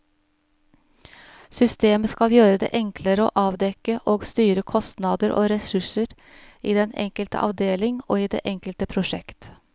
Systemet skal gjøre det enklere å avdekke og styre kostnader og ressurser i den enkelte avdeling og i det enkelte prosjekt.